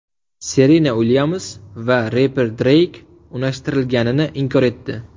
Serena Uilyams va reper Dreyk unashtirilganini inkor etdi .